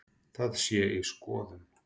Það sé í skoðun.